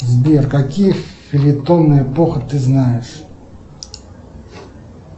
сбер какие фельетонные эпоха ты знаешь